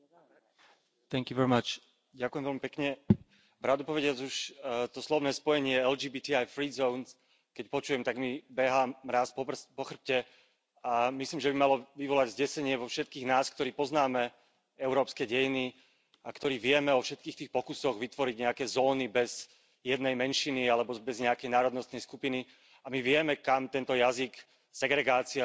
Pani predsedajúca, pravdupovediac, už to slovné spojenie LGBTI free zones, keď počujem, tak mi behá mráz po chrbte, a myslím, že by malo vyvolať zdesenie vo všetkých nás, ktorí poznáme európske dejiny a ktorí vieme o všetkých tých pokusoch vytvoriť nejaké zóny bez jednej menšiny alebo bez nejakej národnostnej skupiny, a my vieme, kam tento jazyk segregácie vylúčenia